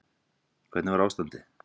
Hvernig var ástandið?